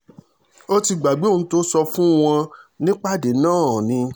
ó ti gbàgbé ohun tó sọ fún wọn nípàdé náà ni